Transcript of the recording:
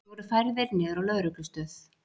Þeir voru færðir niður á lögreglustöð